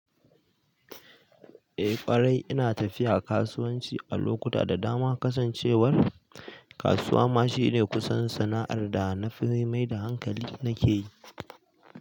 Eh ƙwarai ina tafiya kasuwanci a lokuta da dama. Kasancewar kasuwa ma shi ne kusan sana'ar da na fi mai da hankali nake yi.